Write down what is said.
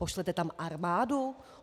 Pošlete tam armádu?